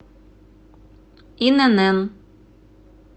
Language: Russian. инн